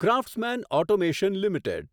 craftsman automation limited